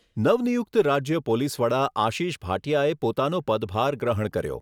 નવનિયુક્ત રાજ્ય પોલીસવડા આશિષ ભાટિયાએ પોતાનો પદભાર ગ્રહણ કર્યો.